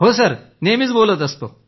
हो सर नेहमी बोलत असतो